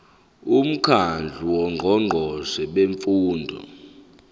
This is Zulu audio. umkhandlu wongqongqoshe bemfundo